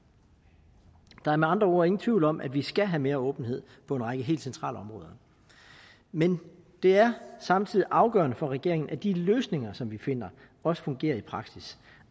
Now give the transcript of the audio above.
der er med andre ord ingen tvivl om at vi skal have mere åbenhed på en række helt centrale områder men det er samtidig afgørende for regeringen at de løsninger som vi finder også fungerer i praksis